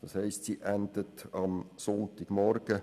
Das heisst, sie endet am Sonntagmorgen.